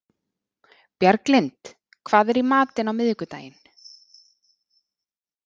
Bjarglind, hvað er í matinn á miðvikudaginn?